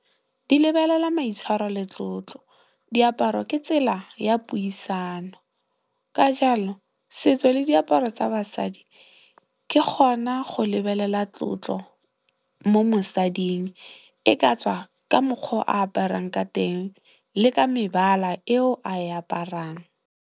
Di lebelela maitshwaro le tlotlo, diaparo ke tsela ya puisano ka jalo, setso le diaparo tsa basadi ke gona go lebelela tlotlo mo mosading e ka tswa ka mokgwa o aparang ka teng le ka mebala eo a e aparang.